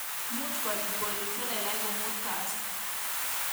Muuch kobiit bolik chelelach komuut Kasi